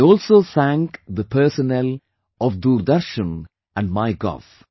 I also thank the personnel of Doordarshan and MyGov